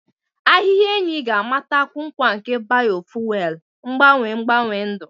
Ahịhịa enyi ga-amatakwu nkwa nke biofuelu, mgbanwe mgbanwe ndụ.